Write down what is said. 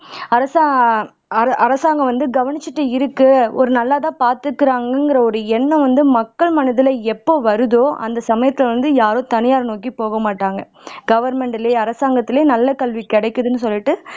அரசா அர அரசாங்கம் வந்து கவனிச்சுட்டு இருக்கு ஒரு நல்லதா பாத்துக்கிறாங்கங்கிற ஒரு எண்ணம் வந்து மக்கள் மனதில எப்போ வருதோ அந்த சமயத்தில வந்து யாரும் தனியாரை நோக்கி போகமாட்டாங்க கவர்மெண்ட்லயும் அரசாங்கத்துலயும் நல்ல கல்வி கிடைக்குதுன்னு சொல்லிட்டு